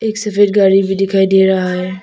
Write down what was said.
एक सफेद गाड़ी भी दिखाई दे रहा है।